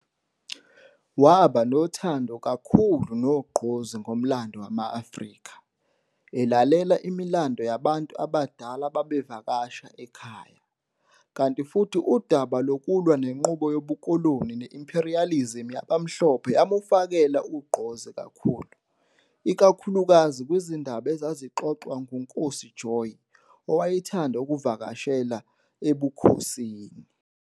Waba nothando kakhulu nogqozi ngomlando wama-Afrika, elalela imilando yabantu abadala ababevakasha ekhaya, kanti futhi udaba lokulwa nenqubo yobukoloni ne-imperialism yabamhlophe yamufakela ugqozi kakhulu, ikakhulukazi kwizindaba ezazixoxwa nguNkosi Joyi owayethanda ukuvakashela ebukhosini.